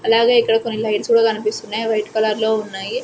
అలాగే ఇక్కడ కొన్ని లైట్స్ గుడ కనిపిస్తున్నాయి అవి వైట్ కలర్లో ఉన్నాయి.